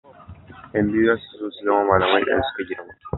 Yan biyun za su so su zama malamai idan suka girma.